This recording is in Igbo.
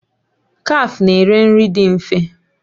Kafe na-ere nri dị mfe